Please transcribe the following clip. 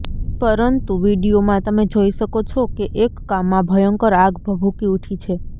પરંતુ વીડિયોમાં તમે જોઈ શકો છે કે એક કામમાં ભયંકર આગ ભભૂકી ઉઠી છે